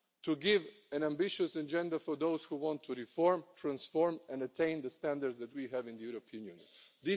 it. To give an ambitious agenda for those who want to reform, transform and attain the standards that we have in the European Union.